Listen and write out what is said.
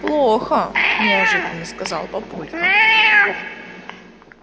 плохо неожиданно сказал папулька